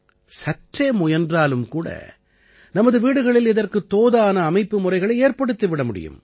சற்றே முயன்றாலும் கூட நமது வீடுகளில் இதற்குத் தோதான அமைப்பு முறைகளை ஏற்படுத்திவிட முடியும்